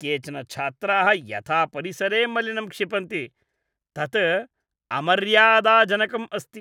केचन छात्राः यथा परिसरे मलिनं क्षिपन्ति तत् अमर्यादाजनकम् अस्ति।